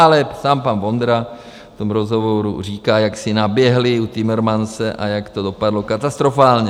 Ale sám pan Vondra v tom rozhovoru říká, jak si naběhli u Timmermanse a jak to dopadlo katastrofálně.